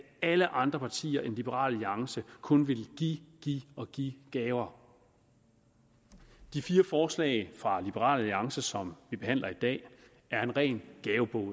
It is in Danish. alle andre partier end liberal alliance kun ville give give og give gaver de fire forslag fra liberal alliance som vi behandler i dag er en ren gavebod